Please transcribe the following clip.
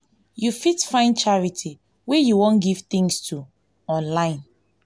you fit find charity wey you wan give things to online